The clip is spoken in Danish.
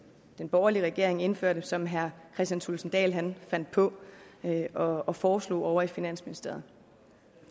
den borgerlige regering indførte og som herre kristian thulesen dahl fandt på og og foreslog ovre i finansministeriet